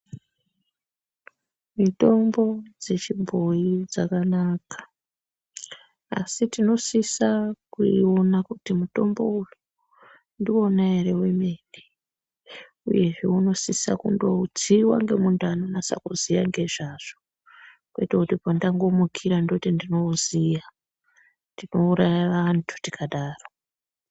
Mitombo dzechibhoyi dzakanaka, asi tinosisa kuiona kuti mutombo uyu ndiwona ere wemene uyezve unosisa kundotsiwa ngemuntu anonasa kuziya ngezvazvo kwete kuti pandangomukira ndoti ndinouziya. Tinouraya vantu tikadaro.